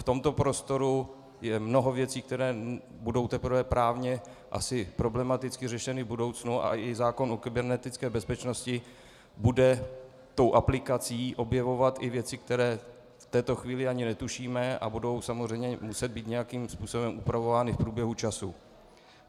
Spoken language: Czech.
V tomto prostoru je mnoho věcí, které budou teprve právně asi problematicky řešeny v budoucnu, a i zákon o kybernetické bezpečnosti bude tou aplikací objevovat i věci, které v této chvíli ani netušíme, a budou samozřejmě muset být nějakým způsobem upravovány v průběhu času.